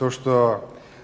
то что